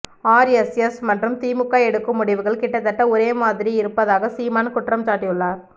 RSS மற்றும் திமுக எடுக்கும் முடிவுகள் கிட்டத்தட்ட ஒரே மாதிரி இருப்பதாக சீமான் குற்றம் சாட்டியுள்ளார்